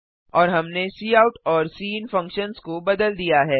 और हमने काउट और सिन फंक्शन्स को बदल दिया है